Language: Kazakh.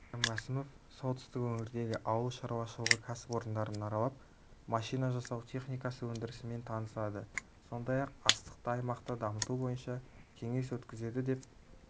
кәрім мәсімов солтүстік өңірдегі ауыл шаруашылығы кәсіпорындарын аралап машина жасау техникасы өндірісімен танысады сондай-ақ астықты аймақта дамыту бойынша кеңес өткізеді деп